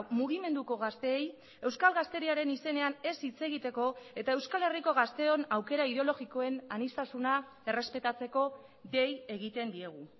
mugimenduko gazteei euskal gazteriaren izenean ez hitz egiteko eta euskal herriko gazteon aukera ideologikoen aniztasuna errespetatzeko dei egiten diegu